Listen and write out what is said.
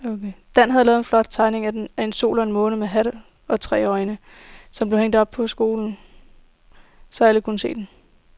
Dan havde lavet en flot tegning af en sol og en måne med hat og tre øjne, som blev hængt op i skolen, så alle kunne se den.